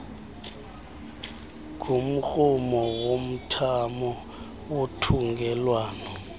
ngumrhumo womthamo wothungelwano